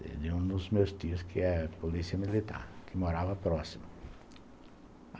de um dos meus tios, que é polícia militar, que morava próximo.